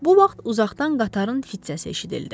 Bu vaxt uzaqdan qatarın fit səsi eşidildi.